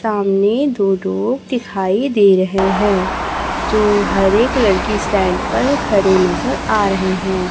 सामने दो लोग दिखाई दे रहे हैं जो हरे कलर की स्टैंड पर खड़े नजर आ रहे हैं।